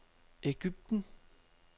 Ægypten